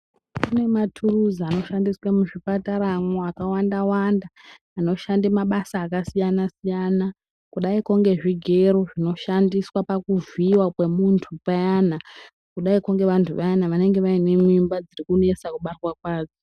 Kune maturuzi anoshanda mwo muzvipatara akawanda wanda anoshande mabasa akasiyana siyana kudaiko sezvigero zvino shandiswa pakuvhiyiwa kwemutu payana kudai ko ngevantu vayana venenge vane mimba dzinonetsa kubarwa kwadzo.